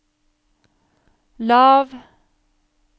lav